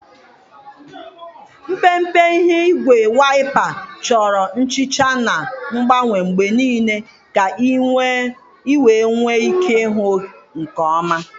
Mpempe ihe ígwè waịpa chọrọ nhicha na ngbanwe mgbe niile ka ị wee nwee ike ịhụ nke ọma.